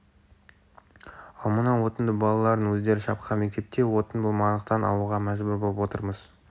ал мына отынды балалардың өздері шапқан мектепте отын болмағандықтан алуға мәжбүр боп отырмыз